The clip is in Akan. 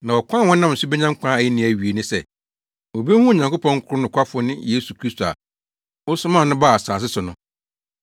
Na ɔkwan a wɔnam so benya nkwa a enni awiei ne sɛ, wobehu Onyankopɔn koro nokwafo no ne Yesu Kristo a wosomaa no baa asase so no!